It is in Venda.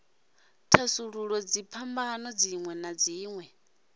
thasulula dziphambano dzinwe na dzinwe